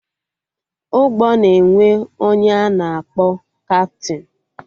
Ụgbọ na-enwe ọnye a na-akpọ kaptịn